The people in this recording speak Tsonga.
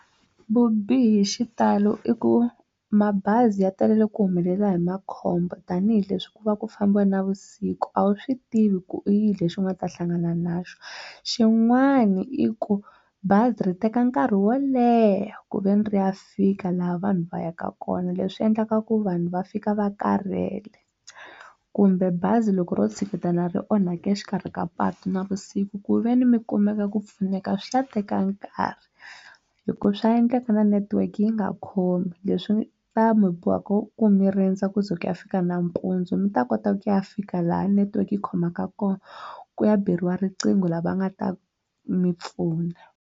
Vubihi hi xitalo i ku mabazi ya talele ku humelela hi makhombo tanihileswi ku va ku fambiwa navusiku a wu swi tivi ku i yini lexi u nga ta hlangana na xo xin'wana i ku bazi ri teka nkarhi wo leha ku veni ri ya fika laha vanhu va yaka kona leswi endlaka ku vanhu va fika va karhele kumbe bazi loko ro tshiketana ri onhake exikarhi ka patu navusiku ku ve ni mi kumeka ku pfuneka swi ta teka nkarhi hi ku swa endleka na network yi nga khomi leswi ta mi boha ku ku mi rindza ku ze ku ya fika nampundzu mi ta kota ku ya fika laha network yi khomaka kona ku ya beriwa riqingho lava nga ta mi pfuna.